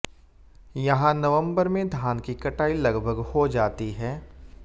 यहां नवंबर में धान की कटाई लगभग हो जाती है